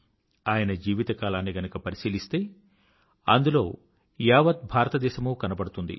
ఆయన జీవితకాలాన్ని గనుక పరిశీలిస్తే అందులో యావత్ భారతదేశమూ కనబడుతుంది